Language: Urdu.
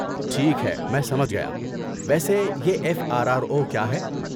ٹھیک ہے، میں سمجھ گیا۔ ویسے یہ ایف آر آر او کیا ہے؟